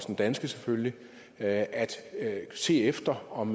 den danske selvfølgelig at at se efter om